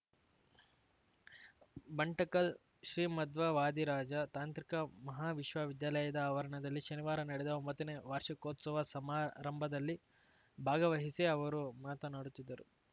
ಬಂಟಕಲ್ ಶ್ರೀಮಧ್ವ ವಾದಿರಾಜ ತಾಂತ್ರಿಕ ಮಹಾವಿಶ್ವವಿದ್ಯಾಲಯದ ಆವರಣ ದಲ್ಲಿ ಶನಿವಾರ ನಡೆದ ಒಂಬತ್ತನೇ ವಾರ್ಷಿಕೋತ್ಸವ ಸಮಾರಂಭದಲ್ಲಿ ಭಾವಹಿಸಿ ಅವರು ಮಾತನಾಡುತ್ತಿದ್ದರು